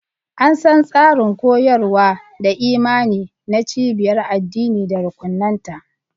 An san tsarin koyarwa da imani na cibiyar addini da rukunanta.